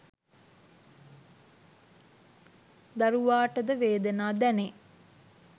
දරුවාට ද වේදනා දැනේ.